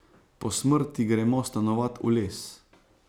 Po smrti gremo stanovat v les.